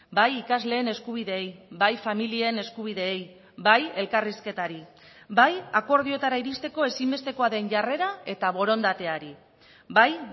bai ikasleen eskubideei bai familien eskubideei bai elkarrizketari bai akordioetara iristeko ezinbestekoa den jarrera eta borondateari bai